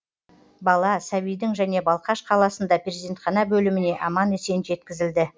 бала сәбидің және балқаш қаласында перзентхана бөліміне аман есен жеткізілді